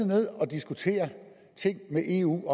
ned at diskutere ting med eu